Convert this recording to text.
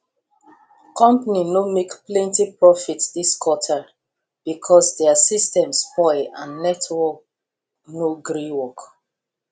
company no make plenty profit this quarter because their system spoil and network no gree work